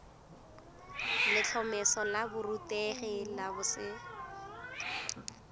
letlhomeso la borutegi la boset